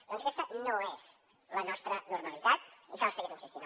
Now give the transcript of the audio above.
doncs aquesta no és la nostra normalitat i cal seguir hi insistint